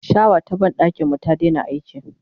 shawa ta banɗakin mu ta Daina aiki